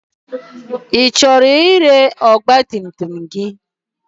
Ị chọrọ ire ọgba tum tum gị?